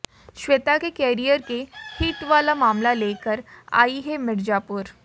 श्वेता के करियर के हिट वाला मामला लेकर आयी है मिर्जापुर